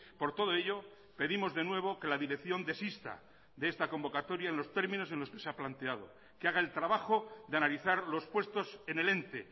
por todo ello pedimos de nuevo que la dirección desista de esta convocatoria en los términos que se ha planteado que haga el trabajo de analizar los puestos en el ente